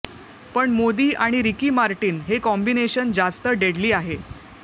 पण मोदी आणि Ricky Martin हे कॉम्बिनेशन जास्त डेडली आहे